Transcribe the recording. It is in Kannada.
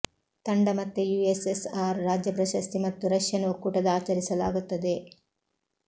ತಂಡ ಮತ್ತೆ ಯುಎಸ್ಎಸ್ಆರ್ ರಾಜ್ಯ ಪ್ರಶಸ್ತಿ ಮತ್ತು ರಷ್ಯನ್ ಒಕ್ಕೂಟದ ಆಚರಿಸಲಾಗುತ್ತದೆ